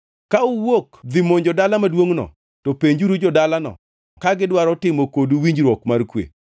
Ka uwuok dhi monjo dala maduongʼno, to penjuru jo-dalano ka gidwaro timo kodu winjruok mar kwe.